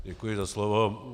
Děkuji za slovo.